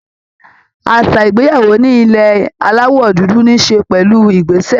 Àṣà ìgbéyàwó ní ilẹ̀ Aláwọ̀ dúdú ní í ṣe pẹ̀lú ìgbésẹ̀